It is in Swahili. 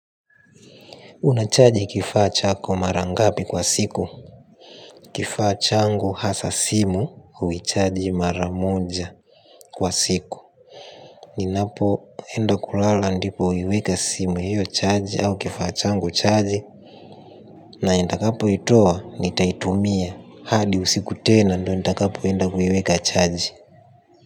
Unachaji kifaa chako mara ngapi kwa siku? Kifaa changu hasa simu, huichaji mara moja kwa siku. Ninapoendo kulala ndipo huiweka simu hiyo chaji au kifaa changu chaji na nitakapoitoa, nitaitumia hadi usiku tena ndio nitakapoenda kuiweka chaji.